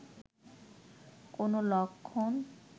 কোনো লক্ষণ